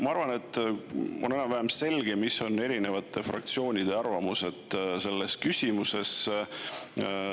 Ma arvan, et on enam-vähem selge, mis on eri fraktsioonide arvamused selles küsimuses.